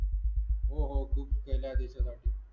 हो हो खूप केले आहे देशासाठी